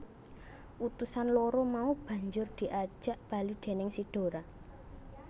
Utusan loro mau banjur diajak bali déning si Dora